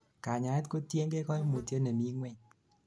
kanyaet kotiengei kaimutyet nemingweny